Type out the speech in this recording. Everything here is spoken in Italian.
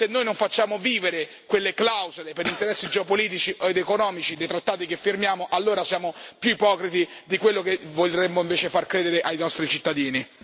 Se noi non facciamo vivere quelle clausole per interessi geopolitici ed economici dei trattati che firmiamo allora siamo più ipocriti di quello che vorremmo invece far credere ai nostri cittadini.